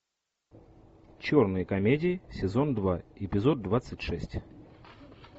черные комедии сезон два эпизод двадцать шесть